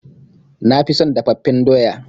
Na fi son dafaffen doya.